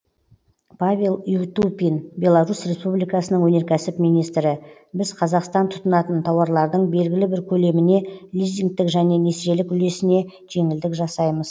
павел ютупин беларусь республикасының өнеркәсіп министрі біз қазақстан тұтынатын тауарлардың белгілі бір көлеміне лизингтік және несиелік үлесіне жеңілдік жасаймыз